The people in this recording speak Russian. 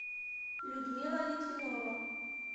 людмила литвинова